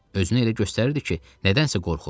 Özünü elə göstərirdi ki, nədənsə qorxur.